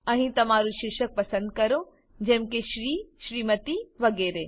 અહીં તમારું શીર્ષક પસંદ કરો જેમ કે શ્રી સેમ્ટ વગેરે